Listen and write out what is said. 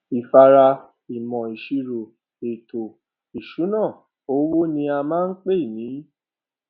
ìfáàrà ìmọ ìṣirò ètò ìṣúná owó ní a máa ń pè ní